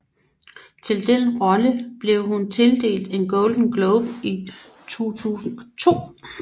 Til den rolle blev hun tildelt en Golden Globe i 2002